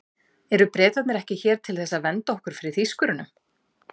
Eru Bretarnir ekki hér til þess að vernda okkur fyrir Þýskurunum?